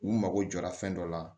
U mago jɔra fɛn dɔ la